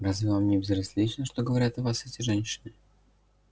разве вам не безразлично что говорят о вас эти женщины